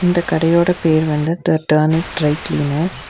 இந்த கடையோட பேர் வந்து த டர்னிங் ட்ரை கிளீனர்ஸ் .